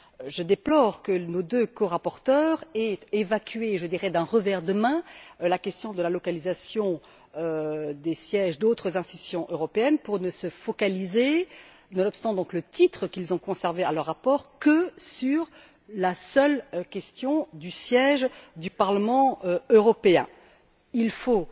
Je déplore que nos deux corapporteurs aient évacué, d'un revers de la main, la question de la localisation des sièges d'autres institutions européennes pour ne se focaliser nonobstant le titre qu'ils ont conservé pour leur rapport que sur la seule question du siège du Parlement européen. Il faut